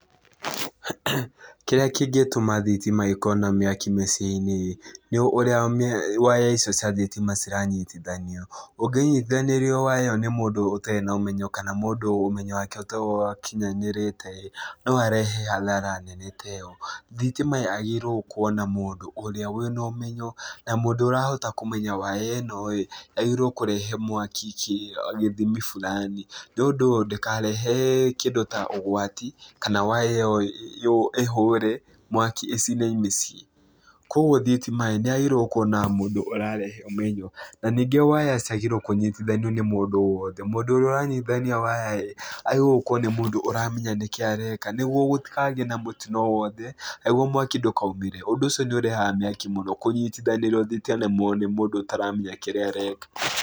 Kĩrĩa kĩngĩtũma thitima ĩkorwo na mĩaki mĩciĩ-inĩ ĩ, nĩ ũrĩa waya icio cia thitima ciranyitithanio. Ũngĩnyitithanĩrio waya ĩyo nĩ mũndũ ũtarĩ na ũmenyo kana mũndũ ũmenyo wake ũtarĩ ũrakinyanĩrĩte-ĩ, no harehe hathara nene ta ĩyo. Thitima yagĩrĩirwo gũkorwo na mũndũ ũrĩa wĩna ũmenyo na mũndũ ũrahota kũmenya waya ĩno-ĩ yagĩrĩirwo kũrehe mwaki gĩthimi fulani nĩũndũ ndĩkarehe kĩndũ ta ũgwati kana waya ĩyo ĩhũre mwaki ĩcine mĩciĩ, kuoguo thitima-ĩ nĩyagĩrĩirwo nĩ gũkorwo na mũndũ ũrarehe ũmenyo na ningĩ waya citiagĩrĩirwi kũnyitithanio nĩ mũndũ o wothe, mũndũ ũrĩa ũranyitithania waya-ĩ agĩrĩirwo gũkorwo nĩ mũndũ ũramenya nĩkĩĩ areka, nĩguo gũtikagĩe na mũtino o wothe na nĩguo mwaki ndũkaumĩre, ũndũ ũcio nĩũrehaga mĩaki mũno kũnyitithanĩrio thitima nĩ mũndũ ũtaramenya kĩrĩa areka.